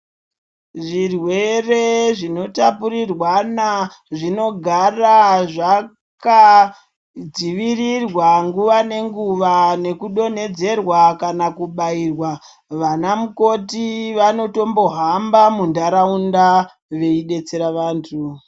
Zvirwere zvinotapurirwana zvinogara zvakadzivirirwa nguva nenguva nekudontedzerwa kana kubairwa vana mukoti vanotombohamba muntaraunda veidetsera vantu.